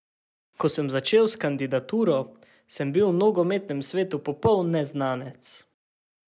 Ko sem začel s kandidaturo, sem bil v nogometnem svetu popoln neznanec.